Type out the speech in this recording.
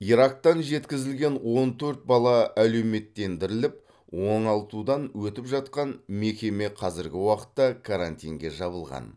ирактан жеткізілген он төрт бала әлеуметтендіріліп оңалтудан өтіп жатқан мекеме қазіргі уақытта карантинге жабылған